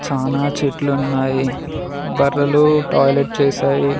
చానా చెట్లున్నాయి బర్రెలు టాయిలెట్ చేశాయి.